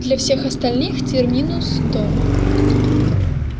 для всех остальных терминус дом